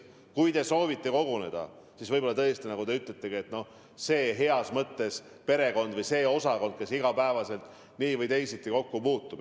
Kui te soovite koguneda, siis tõesti, nagu teiegi ütlete, võib koguneda see tavalises mõttes perekond või osakond, kes iga päev nii või teisiti kokku puutub.